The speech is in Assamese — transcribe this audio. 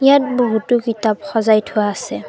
ইয়াত বহুতো কিতাপ সজাই থোৱা আছে।